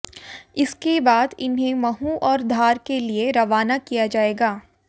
इसके बाद इन्हें महू और धार के लिए रवाना किया जाएगा